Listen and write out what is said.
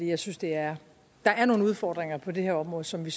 jeg synes der er nogle udfordringer på det her område som vi